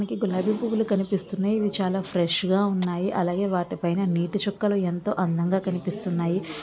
మనకి గులాబీ పూలు కనిపిస్తున్నాయి. ఇవి చాలా ఫ్రెష్ గా ఉన్నాయి. అలాగే వాటి పైన నిటి చుక్కలు ఎంతో అందంగా కనిపిస్తున్నాయి.